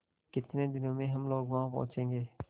कितने दिनों में हम लोग वहाँ पहुँचेंगे